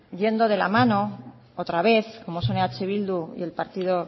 yendo de la mano otra vez como son eh bildu y el partido